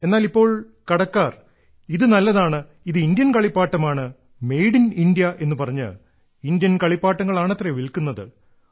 എന്നാൽ ഇപ്പോൾ കടക്കാർ ഇത് നല്ലതാണ് ഇത് ഇന്ത്യൻ കളിപ്പാട്ടമാണ് മെയ്ഡ് ഇൻ ഇന്ത്യ എന്നുപറഞ്ഞ് ഇന്ത്യൻ കളിപ്പാട്ടങ്ങളാണത്രേ വിൽക്കുന്നത്